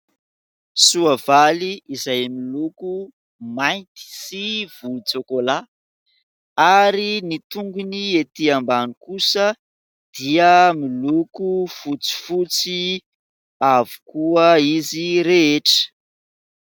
Soavaly izay miloko mainty sy volontsokola, ary ny tongony ety ambany kosa dia miloko fotsifotsy avokoa izy rehetra.